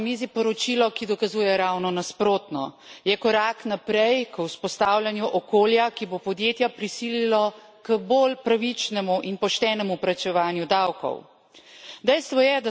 Danes pa imamo na mizi poročilo, ki dokazuje ravno nasprotno, je korak naprej k vzpostavljanju okolja, ki bo podjetja prisililo k bolj pravičnemu in poštenemu plačevanju davkov.